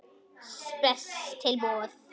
Spes tilboð.